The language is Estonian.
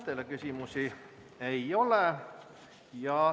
Teile küsimusi ei ole.